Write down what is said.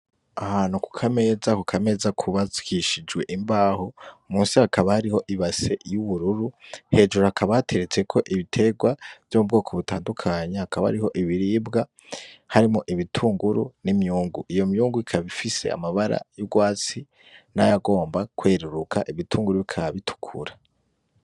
Aha hantu kukameza ,kukameza kubakishijwe imbaho ,munsi hakaba hari ibase y'ubururu, hejuru hakaba hateretsweko Ibitegwa bw'ubwoko butandukanye, hakaba hariho ibiribwa, harimwo ibitunguru n'imyungu, iyo myungu ikaba ifise amabara y'urwatsi nayagomba kweruruka ,ibitunguru bikaba bitukura.